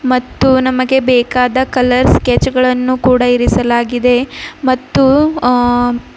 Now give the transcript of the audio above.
ಮತ್ತು ನಮಗೆ ಬೇಕಾದ ಕಲರ್ ಸ್ಕೆಚ್ ಗಳನ್ನು ಕೂಡ ಇರಿಸಲಾಗಿದೆ ಮತ್ತು ಆ --